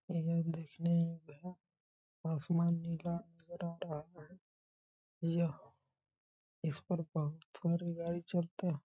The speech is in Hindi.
आसमान नीला यह इसमें बम्फर गाड़ी चलतह --